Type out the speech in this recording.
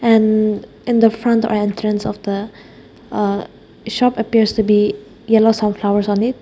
and in the front or entrance of the uh shop appears to be yellow sunflowers on it.